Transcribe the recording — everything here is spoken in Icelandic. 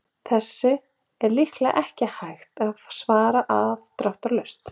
Þessu er líklega ekki hægt að svara afdráttarlaust.